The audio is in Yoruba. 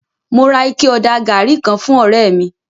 Mo ra ike-ọ̀dà gàrí kan fún ọ̀rẹ́ mi